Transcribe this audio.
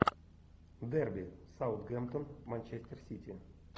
дерби саутгемптон манчестер сити